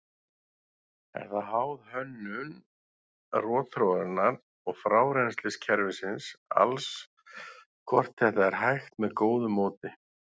Er það háð hönnun rotþróarinnar og frárennsliskerfisins alls hvort þetta er hægt með góðu móti.